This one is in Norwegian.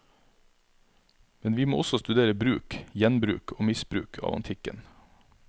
Men vi må også studere bruk, gjenbruk og misbruk av antikken.